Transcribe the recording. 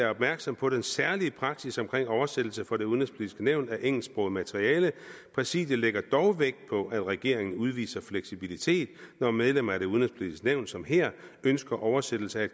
opmærksom på den særlige praksis omkring oversættelse for det udenrigspolitiske nævn af engelsksproget materiale præsidiet lægger dog vægt på at regeringen udviser fleksibilitet når medlemmer af det udenrigspolitiske nævn som her ønsker oversættelse af